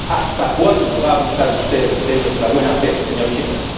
¿Hasta cuándo va a abusar usted de nuestra buena fe, señor Tsipras?